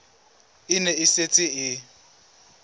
e ne e setse e